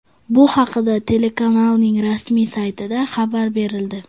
Bu haqda telekanalning rasmiy saytida xabar berildi .